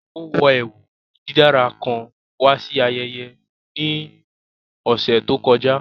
Ó wọ ẹwú dídára kán wà sí àyẹ̀yẹ̀ ní ọṣẹ̀ tó kọ̀jà